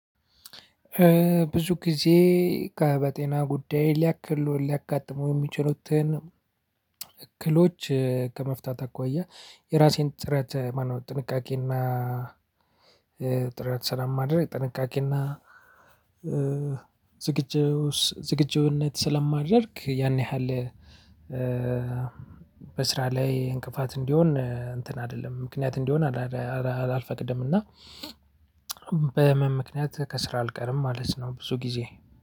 ብዙ ጊዜ በጤና ጉዳይ ሊያክሉ ሊያጋጥሙ የሚችሉትን እክሎች ከመፍታት አኳያ የራሴን ጥረት ማነው ጥንቃቄና። ስለማድረግ ጥንቃቄና ዝግጁነት ስለማደርግ ያን ያህል። በስራ ላይ እንቅፋት እንዲሆን እንትን አይደለም ምክንያት እንዲሆን አልፈቅድም። እና በህመም ምክንያት ከስራ አልቀርም ማለት ነው። ብዙ ጊዜ